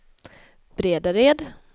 Bredared